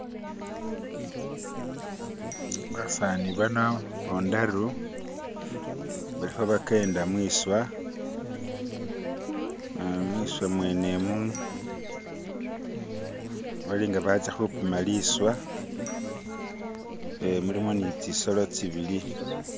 Basaani bano bataru bali khabagenda mwiswa mwiswa mwene mu balinga batsa khupima liswa mulimo ni tsitsolo tsibili.